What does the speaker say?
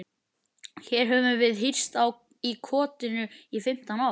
Hér höfum við hírst í kotinu í fimmtán ár.